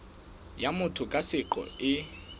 ya motho ka seqo e